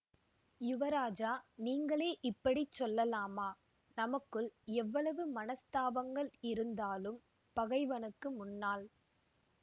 யுவராஜா நீங்களே இப்படி சொல்லலாமா நமக்குள் எவ்வளவு மனஸ்தாபங்கள் இருந்தாலும் பகைவனுக்கு முன்னால்